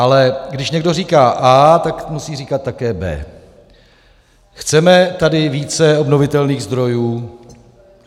Ale když někdo říká A, tak musí říkat také B. Chceme tady více obnovitelných zdrojů?